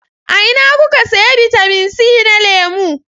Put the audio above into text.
A ina kuka sayi bitamin c na lemu?